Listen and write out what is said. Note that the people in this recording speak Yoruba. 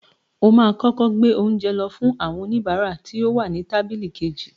O máa kọ́kọ́ gbé oúnjẹ lọ fún àwọn oníbàárà tí ó wà ní tábílì kejì.